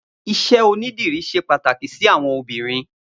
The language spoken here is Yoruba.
Iṣẹ ónidìrí ṣé pàtáki si awọn óbìrín